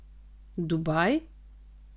Dubaj?